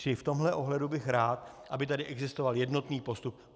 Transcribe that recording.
Čili v tomhle ohledu bych rád, aby tady existoval jednotný postup.